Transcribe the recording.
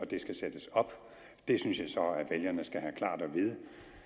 det skal sættes op det synes jeg så vælgerne skal have klart at vide